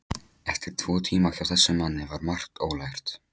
Eftir tvo tíma hjá þessum manni var margt ólært.